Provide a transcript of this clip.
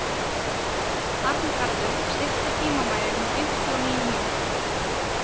Arngarður, stilltu tímamælinn á fimmtíu og níu mínútur.